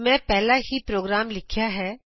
ਮੈਂ ਪਹਿਲਾਂ ਹੀ ਪ੍ਰੋਗਰਾਮ ਲਿਖਿਆ ਹੈ